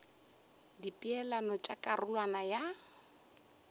ka dipeelano tša karolwana ya